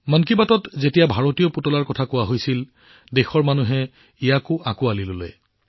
মন কী বাতত যেতিয়া আমি ভাৰতীয় পুতলাৰ কথা উল্লেখ কৰিছিলো দেশৰ মানুহেও ইয়াক সহজে প্ৰচাৰ কৰিছিল